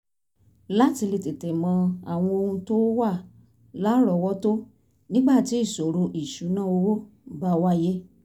láti lè tètè mọ àwọn ohun tó wà lárọ̀ọ́wọ́tó nígbà tí ìṣòro ìṣúnná owó bá wáyé